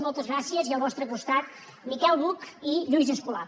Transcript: moltes gràcies i al vostre costat miquel buch i lluís escolà